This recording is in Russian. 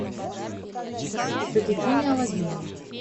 приключения алладина